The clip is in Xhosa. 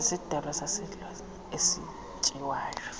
sisidalwa saselwandle esityiwayo